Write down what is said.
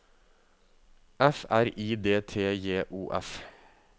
F R I D T J O F